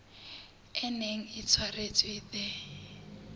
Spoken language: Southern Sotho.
e neng e tshwaretswe the